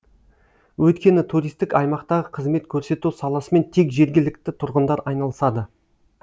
өйткені туристік аймақтағы қызмет көрсету саласымен тек жергілікті тұрғындар айналысады